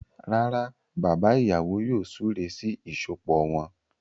Rárá, bàbá ìyàwó yóò súré sí ìsopọ̀ wọn.